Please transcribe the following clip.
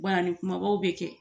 ni kumabaw bɛ kɛ